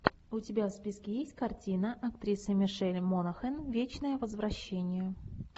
у тебя в списке есть картина актриса мишель монахэн вечное возвращение